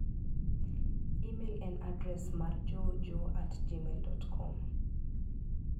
imel en adres mar joejoe@gmail.com